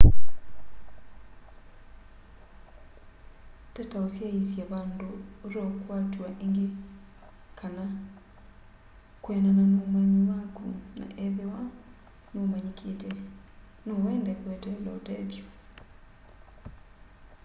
tata ũsyaĩsya vandũ ũteũkwatw'a ĩngĩ kana kwĩanana na ũmanyi waku na ethĩwa n'ũmanyĩkĩte no wende kweteela ũtethyo